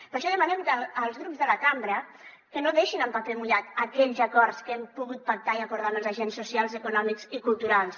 per això demanem als grups de la cambra que no deixin en paper mullat aquells acords que hem pogut pactar i acordar amb els agents socials econòmics i culturals